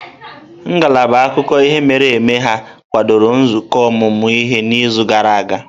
Ngalaba akụkọ ihe mere eme ha kwadoro nzukọ ọmụmụ ihe n'izu gara aga?